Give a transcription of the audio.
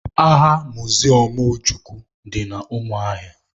Agha miziọm Ojukwu dị na Umuahia